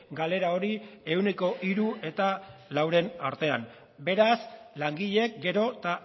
galera hori ehuneko hiru eta lauren artean beraz langileek gero eta